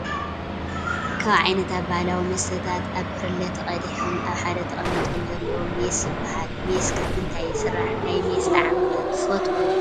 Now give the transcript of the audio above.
ካብ ዓይነታት ባህላዊ መስተታት ኣብ ብርለ ተቀዲሖም ኣብ ሓደ ተቀሚጦም ዘለው ሜስ ይበሃል። ሜስ ካብምንታይ ይስራሕ? ናይ ሜስ ጣዕሚ ከ ትፈትዎ ዶ ?